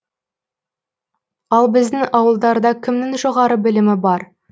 ал біздің ауылдарда кімнің жоғары білімі бар